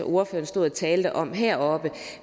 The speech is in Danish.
ordføreren stod og talte om heroppe